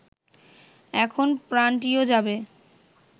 এখন প্রাণটিও যাবে